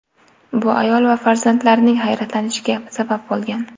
Bu ayol va farzandlarining hayratlanishiga sabab bo‘lgan.